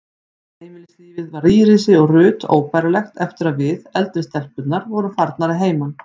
Heimilislífið varð Írisi og Ruth óbærilegt eftir að við, eldri stelpurnar, vorum farnar að heiman.